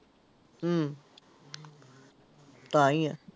ਹਮ ਤਾਂ ਹੀ ਹੈ।